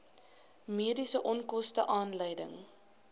mediese onkoste aanleiding